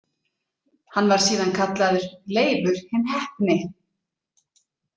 „Hann var síðan kallaður Leifur hinn heppni.“